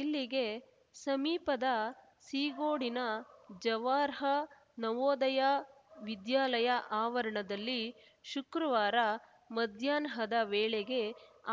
ಇಲ್ಲಿಗೆ ಸಮೀಪದ ಸೀಗೋಡಿನ ಜವಾರ್ಹ ನವೋದಯ ವಿದ್ಯಾಲಯ ಆವರಣದಲ್ಲಿ ಶುಕ್ರವಾರ ಮಧ್ಯಾಹ್ನದ ವೇಳೆಗೆ